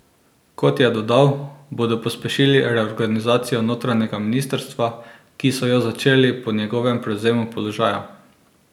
Kot je dodal, bodo pospešili reorganizacijo notranjega ministrstva, ki so jo začeli po njegovem prevzemu položaja.